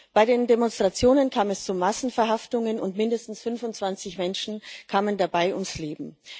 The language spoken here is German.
Bei den Demonstrationen kam es zu Massenverhaftungen, und mindestens 25 Menschen kamen dabei ums Leben.